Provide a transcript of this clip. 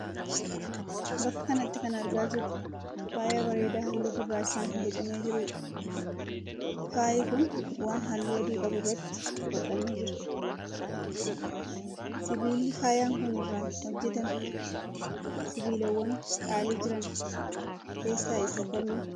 Bakka kanatti kan argaa jirru faaya bareedaa halluu gurrachaan boocamee jiruudha. Faayyi kun waan halluu adii qabuu irratti hodhamee jira. Sibiilli faayyaan kun irraa hojjetame sibiilawwan qaalii jiran keessaa isa kami?